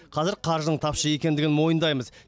қазір қаржының тапшы екендігін мойындаймыз